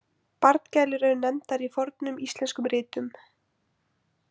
„Barngælur“ eru nefndar í fornum íslenskum ritum.